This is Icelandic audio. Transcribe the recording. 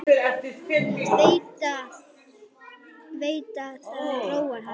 Veit að það róar hann.